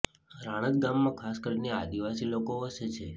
રાણત ગામમાં ખાસ કરીને આદિવાસી લોકો વસે છે